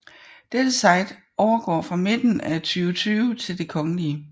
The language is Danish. Dette site overgår fra midten af 2020 til Det Kgl